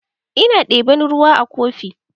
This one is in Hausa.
Ina ɗeban ruwa a kofi.